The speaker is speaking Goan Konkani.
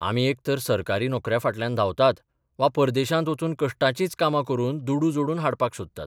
आमी एक तर सरकारी नोकऱ्यांफाटल्यान धांवतात वा परदेशांत वचून कश्टांचींच कामां करून दुडू जोडून हाडपाक सोदतात.